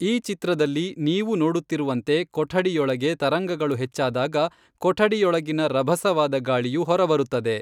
ಈ ಚಿತ್ರದಲ್ಲಿ ನೀವು ನೋಡುತ್ತಿರುವಂತೆ ಕೊಠಡಿಯೊಳಗೆ ತರಂಗಗಳು ಹೆಚ್ಚಾದಾಗ ಕೊಠಡಿಯೊಳಗಿನಿಂದ ರಭಸವಾದ ಗಾಳಿಯು ಹೊರ ಬರುತ್ತದೆ.